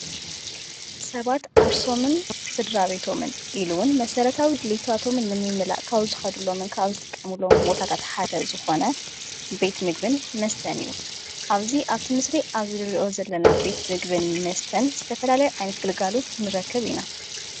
ሰባት ኣርሶምን ሥድራ ቤቶምን ኢሉዉን መሠረታዊ ድሊቶ ኣቶምን ንምምላእ ካው ዝኸዱሎምንካዊዝጥቀምሎም ወታታ ተሓደ ዝኾነ ቤት ምግብን መስተን እዩ ኣብዙይ ኣብቲ ምስሪ ኣብ ዝርዮ ዘለና ቤት ምግብን መስተን ዝተፈላላይ ኣይነት ግልጋሉት ንረክብ ኢና።